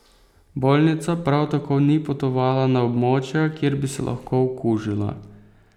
Bolnica prav tako ni potovala na območja, kjer bi se lahko okužila.